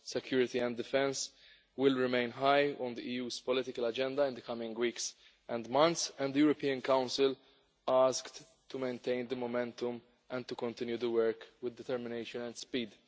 Security and defence will remain high on the EU's political agenda in the coming weeks and months, and the European Council asked to maintain the momentum and to continue the work with determination and speed.